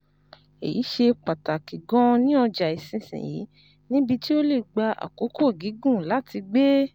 Èyí ṣe pàtàkì gan-an ní ọjà ìsinsìnyí, níbi tí ó lè gba àkókò gígùn láti gbé